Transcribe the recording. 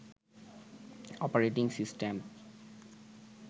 operating system